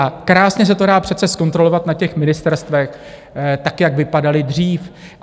A krásně se to dá přece zkontrolovat na těch ministerstvech, tak jak vypadala dřív.